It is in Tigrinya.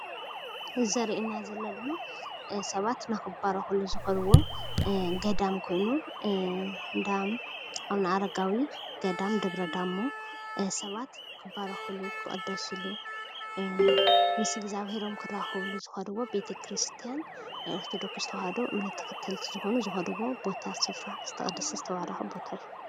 እዚ ዘረእየና ዘሎ ድማ ሰባት ንክባረኩሉ ዝከድዎ ገዳም ኾይኑ እንዳ ኣብነኣረጋዊ ገዳም ደብረዳሞ ሰባት ክባረኩሉ፣ ክቅደስሉ ምስ እግዛብሄሮም ክራከብሉ ዝከድዎ ቤተ ክርስትያን ናይ ኦርቶዶክስ ተዋህዶ እምነት ተከተልቲ ዝኾኑ ዝከድዎ ቦታ ስፍራ ዝተቀደሰ ዝተባረከ ቦታ እዩ።